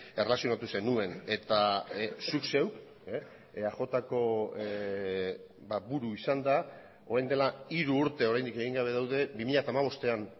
erlazionatu zenuen eta zuk zeuk eajko buru izanda orain dela hiru urte oraindik egin gabe daude bi mila hamabostean